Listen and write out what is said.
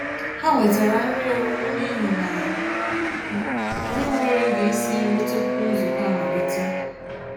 Há wètàrà nrí ọ̀rị́rị́ n'íhi nà ànyị́ ènwéghị́ ògé ísi nrí túpụ̀ nzukọ́ amàlítè.